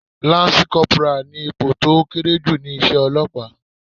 Láńsí kọporà ni ipò tó kéré jù ni iṣẹ́ Ọlọ́pàá.